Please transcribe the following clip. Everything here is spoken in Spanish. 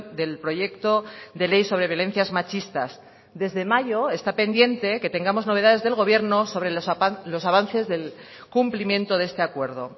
del proyecto de ley sobre violencias machistas desde mayo está pendiente que tengamos novedades del gobierno sobre los avances del cumplimiento de este acuerdo